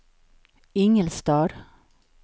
Ingelstad